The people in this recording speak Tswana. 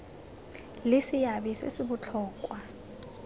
le seabe se se botlhokwa